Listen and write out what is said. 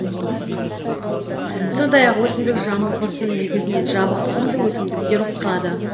сондай ақ өсімдік жамылғысын негізінен жабық тұқымды өсімдіктер құрады